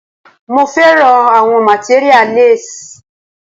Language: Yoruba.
Mo fẹ́ràn àwọn materia less.